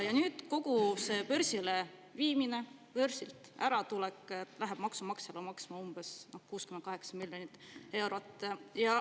Ja nüüd läheb kogu see börsile viimine ja börsilt äratulek maksumaksjale maksma umbes 6,8 miljonit eurot.